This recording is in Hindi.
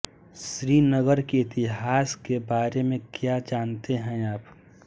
श्रीनगर के इतिहास के बारे में क्या जानते है आप